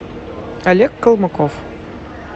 олег колмыков